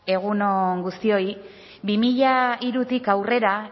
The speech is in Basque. egun on guztioi bi mila hirutik aurrera